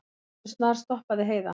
Allt í einu snarstoppaði Heiða.